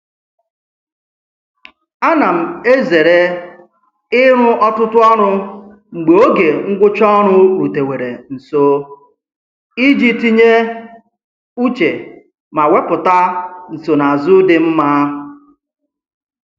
A na m ezere ịrụ ọtụtụ ọrụ mgbe oge ngwụcha ọrụ rutewere nso iji tinye uche ma wepụta nsonaazụ dị mma.